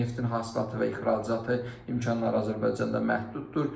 Neftin hasilatı və ixracatı imkanları Azərbaycanda məhduddur.